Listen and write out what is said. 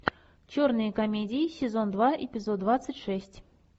черные комедии сезон два эпизод двадцать шесть